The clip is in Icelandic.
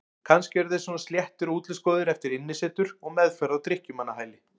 Kannski eru þeir svona sléttir og útlitsgóðir eftir innisetur og meðferð á drykkjumannahæli.